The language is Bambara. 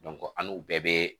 an n'u bɛɛ bɛ